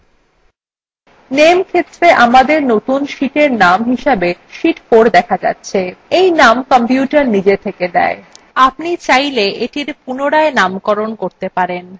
name ক্ষেত্রে আমাদের নতুন sheetin name হিসেবে sheet 4 দেখা যাচ্ছে in name কম্পিউটার নিজে থেকে দেয় আপনি চাইলে এটির পুনরায় নামকরণ করতে পারেন